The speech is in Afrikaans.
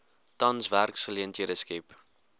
tans werksgeleenthede skep